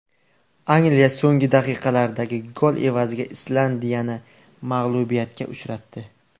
Angliya so‘nggi daqiqalardagi gol evaziga Islandiyani mag‘lubiyatga uchratdi.